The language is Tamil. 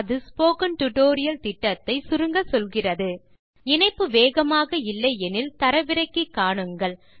அது ஸ்போக்கன் டியூட்டோரியல் திட்டத்தை சுருங்கச்சொல்கிறது இணைப்பு வேகமாக இல்லை எனில் தரவிறக்கி காணுங்கள்